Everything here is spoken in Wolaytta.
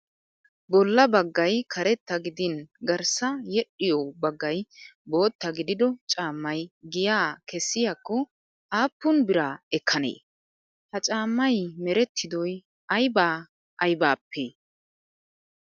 Bolla baggayi karetta gidin garssa yedhdhiyoo baggayi bootta gidido caammayi giyaa kessiyaakko aappun bira ekkanee? Ha caammayi merettidoyi ayibaa ayibaappe?